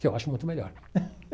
Que eu acho muito melhor.